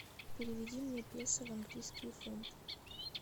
переведи мне песо в английские фунты